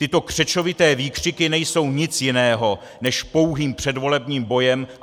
Tyto křečovité výkřiky nejsou nic jiného než pouhý předvolební boj!